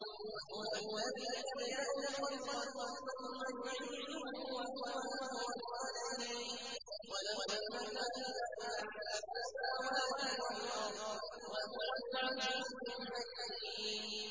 وَهُوَ الَّذِي يَبْدَأُ الْخَلْقَ ثُمَّ يُعِيدُهُ وَهُوَ أَهْوَنُ عَلَيْهِ ۚ وَلَهُ الْمَثَلُ الْأَعْلَىٰ فِي السَّمَاوَاتِ وَالْأَرْضِ ۚ وَهُوَ الْعَزِيزُ الْحَكِيمُ